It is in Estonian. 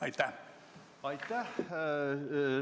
Aitäh!